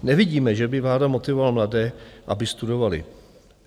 Nevidíme, že by vláda motivovala mladé, aby studovali.